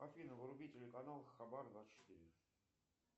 афина вруби телеканал хабар двадцать четыре